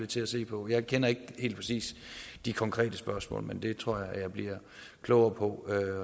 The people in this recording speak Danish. til se på jeg kender ikke helt præcis de konkrete spørgsmål men det tror jeg bliver klogere på